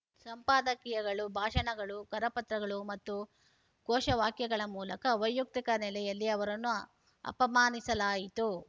ಸಂಪಾದಕೀಯಗಳು ಭಾಷಣಗಳು ಕರಪತ್ರಗಳು ಮತ್ತು ಘೋಷವಾಕ್ಯಗಳ ಮೂಲಕ ವೈಯಕ್ತಿಕ ನೆಲೆಯಲ್ಲಿ ಅವರನ್ನು ಅಪಮಾನಿಸಲಾಯಿತು